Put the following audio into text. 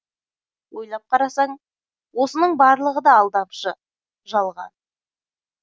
ойлап қарасаң осының барлығы да алдамшы жалған